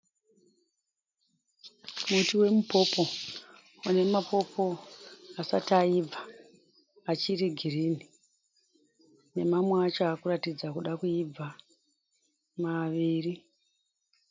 Muti wemupopo une mapopo asati aibva achiri girinhi nemamwe acho aakuratidza kuda kuibva maviri.